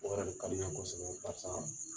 O yɛrɛ le ka di n ɲe kosɛbɛ